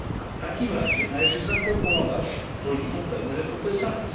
W takim razie należy zaproponować rolnikom pewne rekompensaty.